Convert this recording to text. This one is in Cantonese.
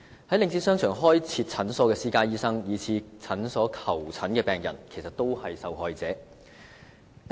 在領展商場開設診所的私家醫生，以至向診所求診的病人，也是受害者。